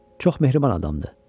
Çox mehriban adamdır.